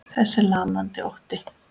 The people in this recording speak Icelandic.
Þessi lamandi ótti.